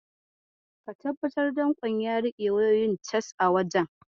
Ka tabbatar danƙon ya riƙe wayoyin cas a wajen.